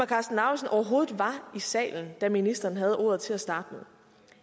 karsten lauritzen overhovedet var i salen da ministeren havde ordet til at starte med